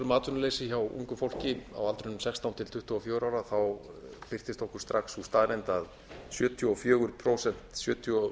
um atvinnuleysi hjá ungu fólki á aldrinum sextán til tuttugu og fjögurra ára þá birtist okkur strax sú staðreynd að sjötíu og fjögur til sjötíu og